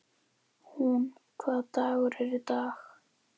Húnn, hvaða dagur er í dag?